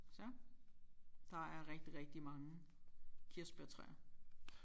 Så der er rigtig rigtig mange kirsebærtræer